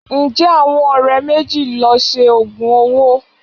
Ǹjẹ́ àwọn ọ̀rẹ́ méjì lọ Se òògùn owó?